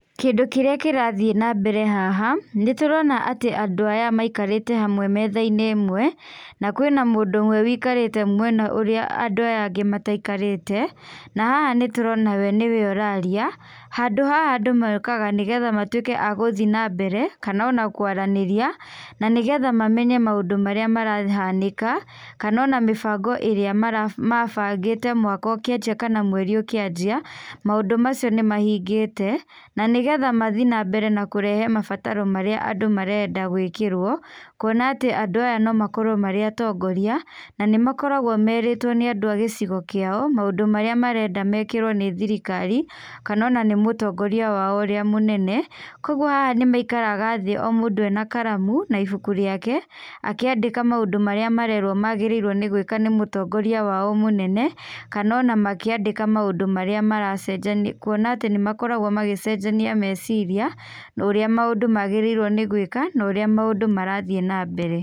Kĩndũ kĩrĩa kĩrathiĩ nambere haha, nĩ tũrona atĩ andũ aya maikarĩte hamwe metha-inĩ ĩmwe na kwĩna mũndũ ũmwe ũikarĩte mwena ũrĩa andũ aya angĩ mataikarĩte, na haha nĩtũrona we nĩ we ũraria. Handũ haha andũ mokaga nĩgetha matuĩke a gũthi nambere kana ona kũaranĩria na nĩgetha mamenye maũndũ marĩa marahanĩka, kana ona mĩbango ĩrĩa mabangĩte mwaka ũkĩanjia kana mweri ũkĩanjia, maũndũ macio nĩ mahingĩte. Na nigetha mathi nambere na kũrehe mabataro marĩa andũ marenda gũĩkĩrwo. Kuona atĩ andũ aya no makorwo marĩ atongoria, na nĩmakoragwo merĩtwo nĩ andũ a gĩcigo kĩao maũndũ marĩa marenda mekĩrwo nĩ thirikari, kana ona nĩ mũtongoria wao ũrĩa mũnene. Koguo haha nĩ maikaraga thĩ o mũndũ ena karamu na ibuku rĩake akĩandĩka maũndũ marĩa marerwo magĩrĩirwo nĩ gwĩka nĩ mũtongoria wao mũnene, kana ona makĩandĩka maũndũ marĩa maracenjanio, kuona atĩ nĩ makoragwo magĩcenjania meciria, ũrĩa maũndũ magĩrĩirwo nĩ gwĩka, na ũrĩa maũndũ marathi nambere.